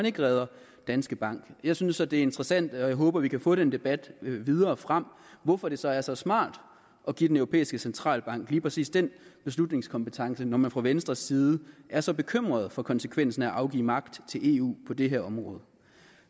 ikke redder danske bank jeg synes så det er interessant og jeg håber at vi kan få den debat videre frem hvorfor det så er så smart at give den europæiske centralbank lige præcis den beslutningskompetence altså når man fra venstres side er så bekymret for konsekvensen af at afgive magt til eu på det her område